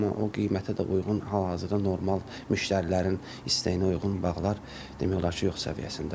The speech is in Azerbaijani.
Amma o qiymətə də uyğun hal-hazırda normal müştərilərin istəyinə uyğun bağlar demək olar ki, yox səviyyəsindədir.